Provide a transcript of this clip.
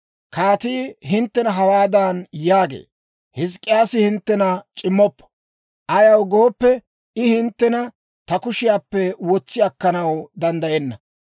Kaatii hinttena hawaadan yaagee; ‹Hizk'k'iyaasi hinttena c'immoppo; ayaw gooppe, I hinttena ta kushiyaappe wotsi akkanaw danddayenna.